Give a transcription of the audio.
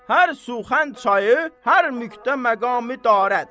Hər suxənd çayı, hər mühdə məqami darət.